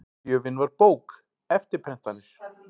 Gjöfin var bók, eftirprentanir